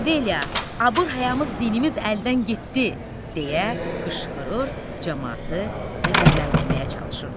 Vay, abır həyamız dinimiz əldən getdi, deyə qışqırır, camaatı qəzəbləndirməyə çalışırdılar.